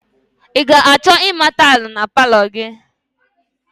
I ga-achọ ịma tailị na palọ gị?